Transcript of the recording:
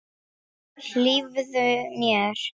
Hlífðu mér.